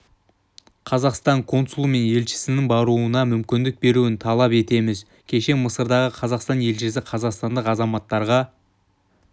қазақстан консулы мен елшісінің баруына мүмкіндік беруін талап етеміз кеше мысырдағы қазақстан елшісі қазақстандық азаматтарға